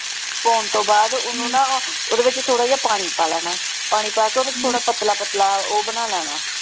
ਪਾਉਣ ਤੋਂ ਬਾਅਦ ਓਹਨੂੰ ਨਾ ਓਹਦੇ ਵਿੱਚ ਥੋੜਾ ਜਿਹਾ ਪਾਣੀ ਪਾ ਲੈਣਾ ਪਾਣੀ ਪਾ ਕੇ ਥੋੜਾ ਪਤਲਾ ਪਤਲਾ ਉਹ ਬਣਾ ਲੈਣਾ।